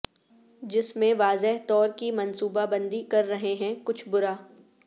جس میں واضح طور کی منصوبہ بندی کر رہے ہیں کچھ برا